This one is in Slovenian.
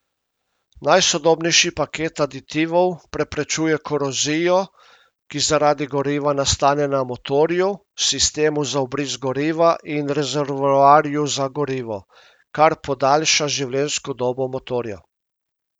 Najsodobnejši paket aditivov preprečuje korozijo, ki zaradi goriva nastane na motorju, sistemu za vbrizg goriva in rezervoarju za gorivo, kar podaljša življenjsko dobo motorja.